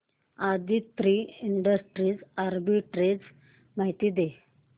Aditri industries arbitrage माहिती दे